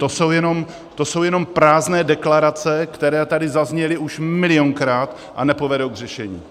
To jsou jenom prázdné deklarace, které tady zazněly už milionkrát a nepovedou k řešení.